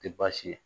Tɛ baasi ye